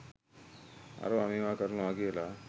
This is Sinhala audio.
අරවා මේවා කරනවා කියලා